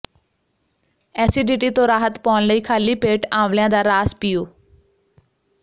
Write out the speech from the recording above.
acidity ਤੋਂ ਰਾਹਤ ਪਾਉਣ ਲਈ ਖਾਲੀ ਪੇਟ ਆਂਵਲਿਆਂ ਦਾ ਰਾਸ ਪੀਓ